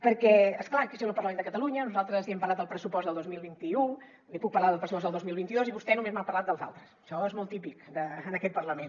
perquè és clar això és el parlament de catalunya nosaltres li hem parlat del pressupost del dos mil vint u li puc parlar del pressupost del dos mil vint dos i vostè només m’ha parlat dels altres això és molt típic en aquest parlament